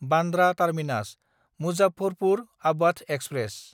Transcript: Bandra टार्मिनास–मुजफ्फरपुर आबाध express